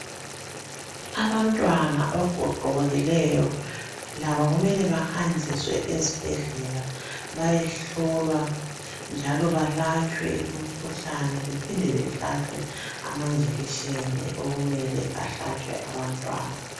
Abantwana abagogekileyo labo kumele bahanjiswe ezibhedlela bayehlolwa njalo balatshelwe imikhuhlane bahlatshwe amajekiseni okumele ahlatshwe abantwana